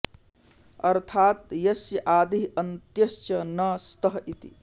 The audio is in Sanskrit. अर्थात् यस्य आदिः अन्त्यः च न स्तः इति